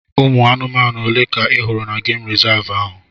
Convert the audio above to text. Ụmụ anụmanụ ole ka ị hụrụ na gemụ rizavụ ahụ?